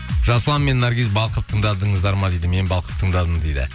жасұлан мен наргиз балқып тыңдадыңыздар ма дейді мен балқып тыңдадым дейді